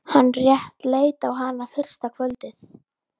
Hann rétt leit á hana fyrsta kvöldið.